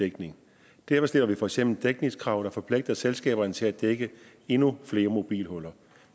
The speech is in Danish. dækning derfor stiller vi for eksempel dækningskrav der forpligter selskaberne til at dække endnu flere mobilhuller